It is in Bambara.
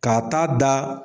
Ka'a taa da.